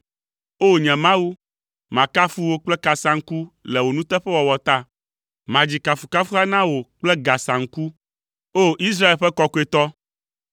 O! Nye Mawu, makafu wò kple kasaŋku le wò nuteƒewɔwɔ ta; madzi kafukafuha na wò kple gasaŋku, O! Israel ƒe Kɔkɔetɔ.